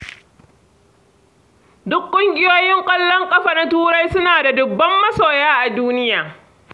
Duk ƙungiyoyin ƙwallon ƙafa na Turai suna da dubban masoya a duniya.